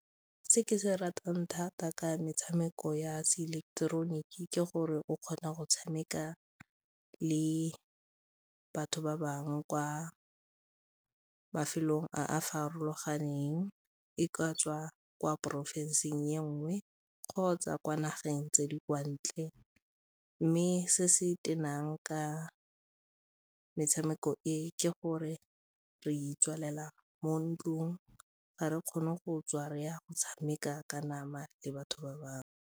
Se ke se ratang thata ka metshameko ya seileketeroniki ke gore o kgona go tshameka le batho ba bangwe kwa mafelong a a farologaneng, e ka tswa kwa porofensing e nngwe kgotsa kwa nageng tse di kwa ntle mme se se tenang ka metshameko e ke gore re itswalela mo ntlong, ga re kgone go tswa re ya go tshameka ka nama le batho ba bangwe.